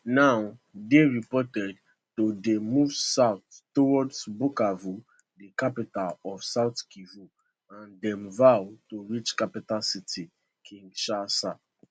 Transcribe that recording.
di rebels now dey reported to dey move south towards bukavu di capital of south kivu and dem vow to reach capital city kinshasa